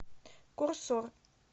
курсор